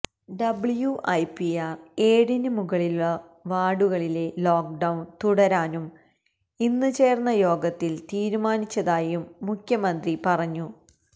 WIPR ഏഴിന് മുകളിലുള്ള വാര്ഡുകളിലെ ലോക്ക്ഡൌണ് തുടരാനും ഇന്ന് ചേര്ന്ന യോഗത്തില് തീരുമാനിച്ചതായും മുഖ്യമന്ത്രി പറഞ്ഞു